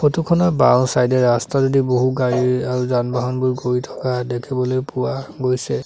Photo খনৰ বাওঁচাইড এ ৰাস্তাটোদি বহু গাড়ী আৰু যান বাহনবোৰ ঘূৰি থকা দেখিবলৈ পোৱা গৈছে।